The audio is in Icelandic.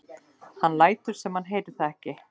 Hann lætur sem hann heyri það ekki.